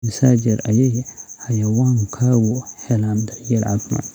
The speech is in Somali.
Immisa jeer ayay xayawaankaagu helaan daryeel caafimaad?